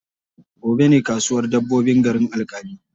Gobe ne kasuwar dabbobin garin Alƙali.